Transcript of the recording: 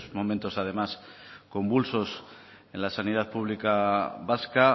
momentos además convulsos en la sanidad pública vasca